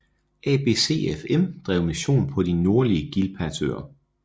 ABCFM drev mission på de nordlige Gilbertøer